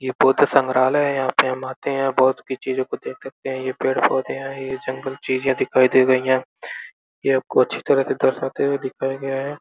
ये बौद्ध संग्रालय है। यहाँ पे हम आते हैं। बौद्ध की चीजों को देख सकते है। ये पेड़-पौधे हैं। ये जंगल चीजे दिखाई दे रही हैं। ये आपको अच्छी तरह से दर्शाते हुए दिखाया गया है।